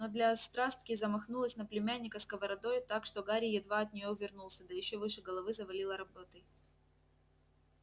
но для острастки замахнулась на племянника сковородой так что гарри едва от нее увернулся да ещё выше головы завалила работой